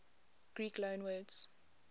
greek loanwords